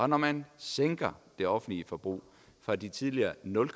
når man sænker det offentlige forbrug fra de tidligere nul